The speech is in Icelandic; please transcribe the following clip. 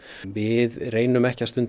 við reynum ekki að stunda